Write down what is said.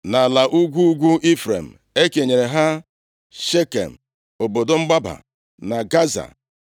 Nʼala ugwu ugwu Ifrem e kenyere ha Shekem (obodo mgbaba), na Gaza,